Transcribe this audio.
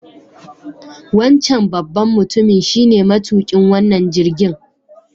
Wancan babban mutumin shine matuƙin wannan jirgin.